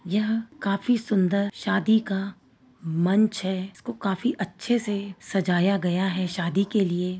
यह काफी सुन्दर शादी का मंच हैं। इसको काफी अच्छे से सजाया गया हैं शादी के लिए।